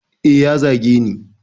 Eh ya zageni